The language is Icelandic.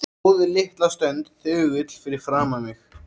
Stóð litla stund þögull fyrir framan mig.